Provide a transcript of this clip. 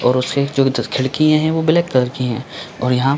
और उसे जो इधर खिड़की है वो ब्लैक कलर की है। और यहाँ--